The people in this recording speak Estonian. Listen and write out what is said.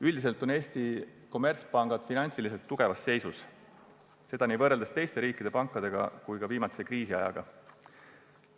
Üldiselt on Eesti kommertspangad finantsiliselt tugevas seisus, seda nii teiste riikide pankade kui ka viimatise kriisiajaga võrreldes.